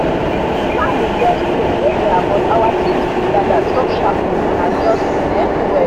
plan been just change anyhow but our team still gather talk sharply and adjust um well